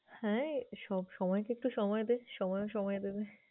হ্যাঁ, সব~ সময়কে একটু সময় দে, সময়ও সময় দেবে।